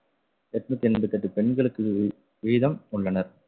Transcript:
எட்நூத்தி எண்பத்தி எட்டு பெண்களுக்கு வீதம் கொண்டனர்.